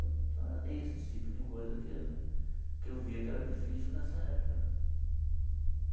Então era isso, esse tipo de coisa que eu que eu via que era difícil nessa época né.